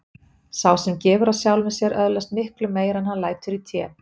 Sá sem gefur af sjálfum sér öðlast miklu meira en hann lætur í té.